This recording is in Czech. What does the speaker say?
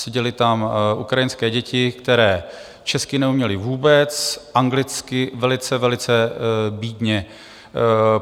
Seděly tam ukrajinské děti, které česky neuměly vůbec, anglicky velice, velice bídně.